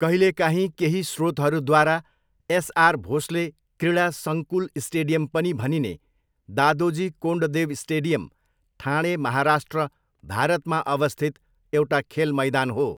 कहिलेकाहीँ केही स्रोतहरूद्वारा एसआर भोस्ले क्रीडा सङ्कुल स्टेडियम पनि भनिने दादोजी कोन्डदेव स्टेडियम, ठाणे, महाराष्ट्र, भारतमा अवस्थित एउटा खेल मैदान हो।